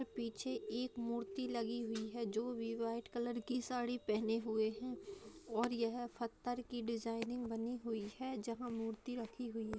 पीछे एक मूर्ति लगी हुई है जो भी व्हाइट कलर की साड़ी पहने हुए है और यह फत्तर की डिजाइनिंग बनी हुई है जहाँ मूर्ति रखी हुई है।